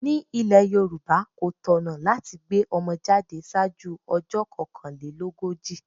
Ní ile Yorùbá, kò tọ̀nà láti gbé ọmọ jáde ṣáájú ọjọ́ kokanlelogoji.